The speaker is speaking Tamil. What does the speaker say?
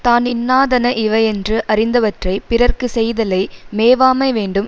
தான் இன்னாதன இவையென்று அறிந்தவற்றைப் பிறற்குச் செய்தலை மேவாமை வேண்டும்